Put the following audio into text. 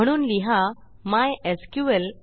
म्हणून लिहा mysql fetch assoc